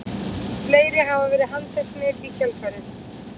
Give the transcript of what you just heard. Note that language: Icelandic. Fleiri hafa verið handteknir í kjölfarið